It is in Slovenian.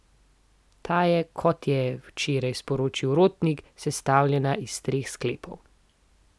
Ta je, kot je včeraj sporočil Rotnik, sestavljena iz treh sklepov.